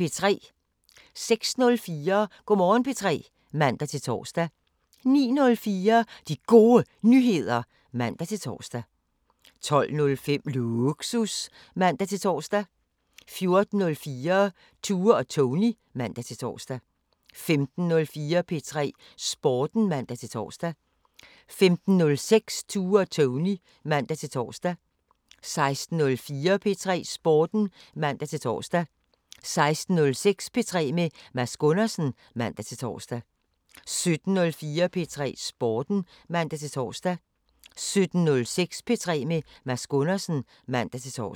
06:04: Go' Morgen P3 (man-tor) 09:04: De Gode Nyheder (man-tor) 12:05: Lågsus (man-tor) 14:04: Tue og Tony (man-tor) 15:04: P3 Sporten (man-tor) 15:06: Tue og Tony (man-tor) 16:04: P3 Sporten (man-tor) 16:06: P3 med Mads Gundersen (man-tor) 17:04: P3 Sporten (man-tor) 17:06: P3 med Mads Gundersen (man-tor)